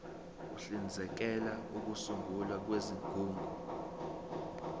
uhlinzekela ukusungulwa kwezigungu